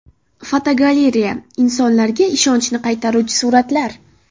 Fotogalereya: Insonlarga ishonchni qaytaruvchi suratlar.